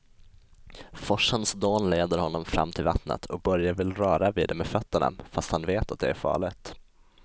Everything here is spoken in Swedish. Forsens dån leder honom fram till vattnet och Börje vill röra vid det med fötterna, fast han vet att det är farligt.